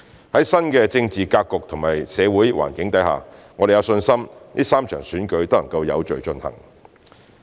在新的政治格局及社會環境下，我們有信心3場選舉能有序進行。